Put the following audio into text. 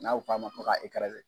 N'a f'a ma ko k'a